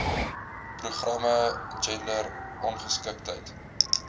programme gender ongeskiktheid